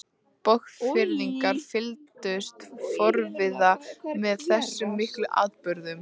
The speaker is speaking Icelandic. Borgfirðingar fylgdust forviða með þessum miklu atburðum.